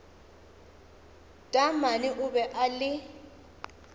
taamane o be a le